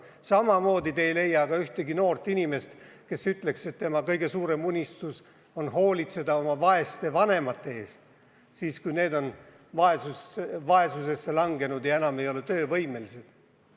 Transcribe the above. Samamoodi te ei leia ka ühtegi noort inimest, kes ütleks, et tema kõige suurem unistus on hoolitseda oma vaeste vanemate eest, kui need on vaesusesse langenud ja enam ei ole töövõimelised.